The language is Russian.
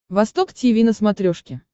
восток тиви на смотрешке